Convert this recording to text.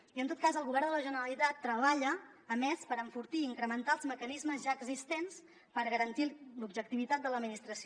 i en tot cas el govern de la generalitat treballa a més per enfortir i incrementar els mecanismes ja existents per garantir l’objectivitat de l’administració